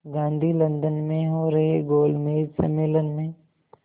Gandhi London में हो रहे गोलमेज़ सम्मेलन में